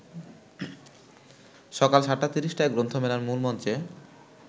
সকাল ৭:৩০টায় গ্রন্থমেলার মূলমঞ্চে